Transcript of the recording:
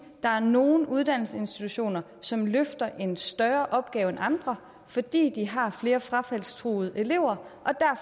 der er nogle uddannelsesinstitutioner som løfter en større opgave end andre fordi de har flere frafaldstruede elever